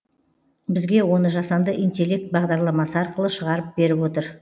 бізге оны жасанды интеллект бағдарламасы арқылы шығарып беріп отыр